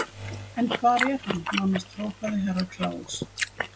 En hvar er hann, nánast hrópaði Herra Kláus.